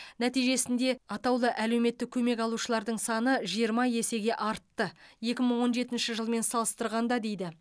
нәтижесінде атаулы әлеуметтік көмек алушылардың саны жиырма есеге артты екі мың он жетінші жылмен салыстырғанда дейді